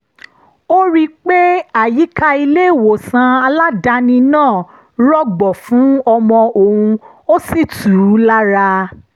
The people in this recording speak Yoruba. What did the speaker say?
ó rí i pé àyíká ilé-ìwòsàn aládàáni náà rọgbọ fún ọmọ òun ó sì tù ú lára